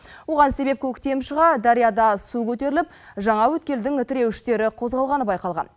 оған себеп көктем шыға дарияда су көтеріліп жаңа өткелдің тіреуіштері қозғалғаны байқалған